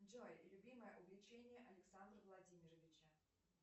джой любимое увлечение александра владимировича